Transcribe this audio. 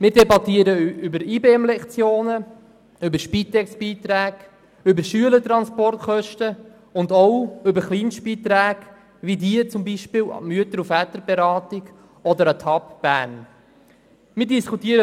Wir debattieren über Lektionen für Integration und besondere Massnahmen (IBEM), über Spitex-Beiträge, über Schülertransportkosten und auch über Kleinstbeiträge wie beispielsweise an die Mütter- und Väterberatung oder an die Homosexuelle Arbeitsgruppe Bern (HAB Bern).